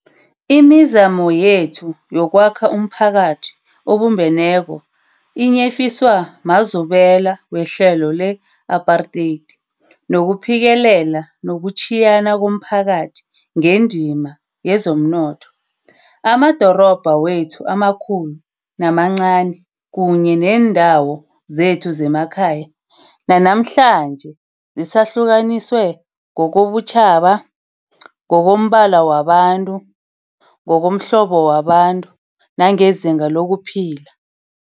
Imizamo yethu yokwakha umphakathi obumbeneko inyefiswa mazubela wehlelo le-apartheid nokuphikelela kokutjhiyana komphakathi ngendima yezomnotho. Amadorobha wethu amakhulu namancani kunye neendawo zethu zemakhaya, nanamhlanje zisahlukaniswe ngokobutjhaba, ngokombala wabantu, ngokomhlobo wabantu nangezinga lokuphila.